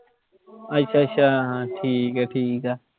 ਅੱਛਾ ਅੱਛਾ, ਠੀਕ ਹੈ ਠੀਕ ਹੈ।